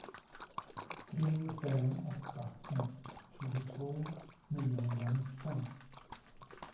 tre fem åtta ett tjugotvå niohundranitton